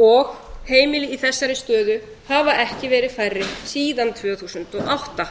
og heimili í þessari stöðu hafa ekki verið færri síðan tvö þúsund og átta